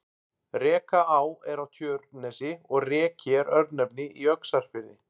Rekaá er á Tjörnesi og Reki er örnefni í Öxarfirði.